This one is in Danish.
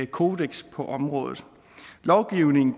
kodeks på området lovgivning